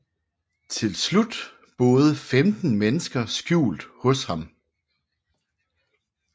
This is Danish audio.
Til slut boede 15 mennesker skjult hos ham